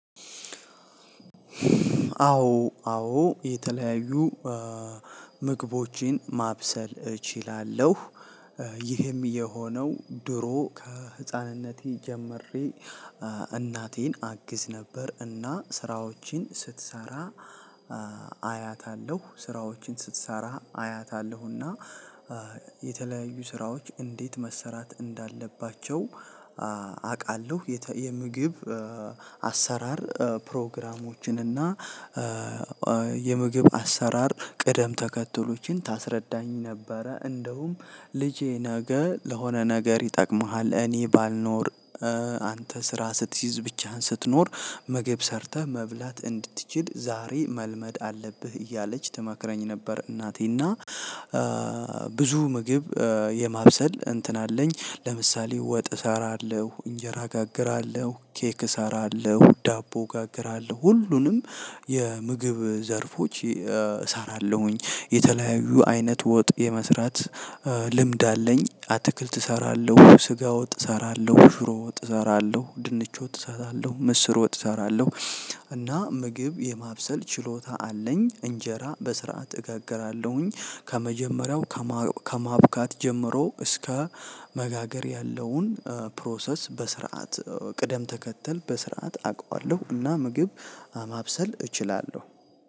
አዎ አዎ የተለያዩ ምግቦቼን ማብሰል እችላለሁ። ይህም የሆነው ድሮ ከህፃንነቴ ጀምሬ እናቴን አግዝ ነበር እና ስራዎችን ስትሰራ አያታለሁ ስራዎችን ስትሰራ አያታለሁና። የተለያዩ ስራዎች እንዴት መሰራት እንዳለባቸው አቃለሁ። የምግብ አሰራር ፕሮግራሞችን እና የምግብ አሰራር ቅደም ተከትሎችን ታስረዳኝ ነበረ። እንደውም ልጄ ነገ ለሆነ ነገር ይጠቅምሃል እኔ ባልኖር አንተ ስራ ስትይዝ ብቻህን ስትኖር ምግብ ሰርተህ መብላት እንድትችል ዛሬ መልመድ አለብህ እያለች ትመክረኝ ነበር። እናቴ እና ብዙ ምግብ የማብሰል እንትን አለኝ ለምሳሌ ወጥ እሰራለሁ እንጀራ እጋግራለሁ ኬክ እሰራለሁ ዳቦ እጋግራለሁ ሁሉንም የምግብ ዘርፎች እሰራለሁኝ። የተለያዩ አይነት ወጥ የመስራት ልምድ አለኝ። አትክልት እሰራለሁ ስጋ ወጥ እሰራለሁ ሽሮ ወጥ እሰራለሁ ድንች ወጥ እሰራለሁ ምስር ወጥ እሰራለሁ። እና ምግብ የማብሰል ችሎታ አለኝ። እንጀራ በስርዓት እጋግራለሁኝ ከመጀመሪያው ከማቡካት ጀምሮ እስከ መጋገር ያለውን ፕሮሰስ በስርዓት ቅደም ተከተል በስርዓት አቀዋለሁ እና ምግብ ማብሰል እችላለሁ።